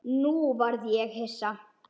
Nú varð ég hissa.